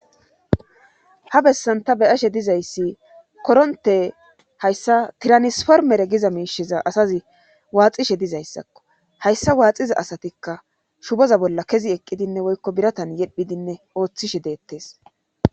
ha bessanta beyashe dizayssi koronte hayssa tiranisformere giza miisheza asazi waaxishe dizayssakko hayssa waaxiza asatikka shuboza bolla kezi eqqidinne woykko biratan yedhidinne ooththishe deettes